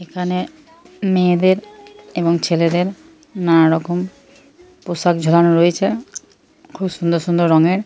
এখানে মেয়েদের এবং ছেলেদের নানা রকম পোশাক ঝোলানো রয়েছে খুব সুন্দর সুন্দর রংয়ের।